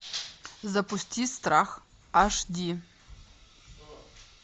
запусти страх аш ди